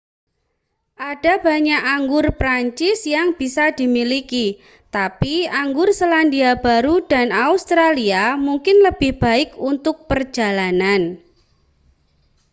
ada banyak anggur prancis yang bisa dimiliki tapi anggur selandia baru dan australia mungkin lebih baik untuk perjalanan